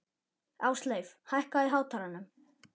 Ásleif, hækkaðu í hátalaranum.